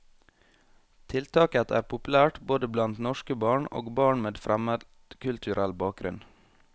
Tiltaket er populært både blant norske barn og barn med fremmedkulturell bakgrunn.